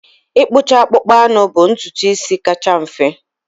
Ịkpụcha akpụkpọ anụ bụ ntutu isi kacha mfe.